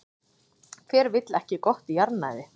Hver vill ekki gott jarðnæði?